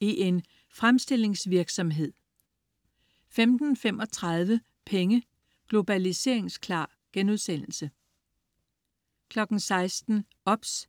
i en fremstillingsvirksomhed?* 15.35 Penge: Globaliseringsklar* 16.00 OBS*